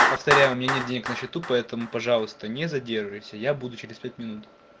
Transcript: повторяю у меня нет денег на счету поэтому пожалуйста не задерживайся я буду через пять минут